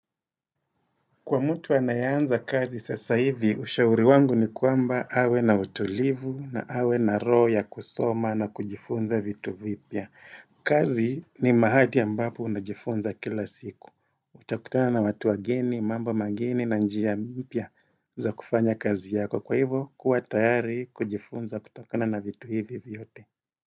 Kwa mtu anayeanza kazi sasa hivi, ushauri wangu ni kwamba awe na utulivu na awe na roho ya kusoma na kujifunza vitu vipya. Kazi ni mahali ambapo unajifunza kila siku. Utakutana na watu wageni, mambo mageni na njia mpya za kufanya kazi yako. Kwa hivo, kuwa tayari kujifunza kutokana na vitu hivi vyote.